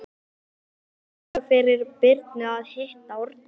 Það er gaman fyrir Birnu að hitta Árna.